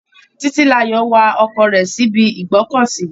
Titilayo wa ọkọ̀ rẹ̀ síbi ìgbọ́kọ̀sí.